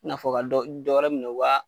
N'a fɔ ka dɔ , bi dɔ wɛrɛ minɛ